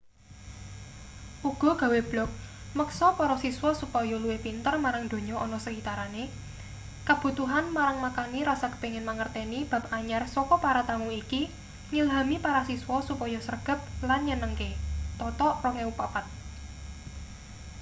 uga gawe blog meksa para siswa supaya luwih pinter marang donya ana sekitarane.” kabutuhan marang makani rasa kepingin mangerteni bab anyar saka para tamu iki ngilhami para siswa supaya sregep lan nyenengke toto 2004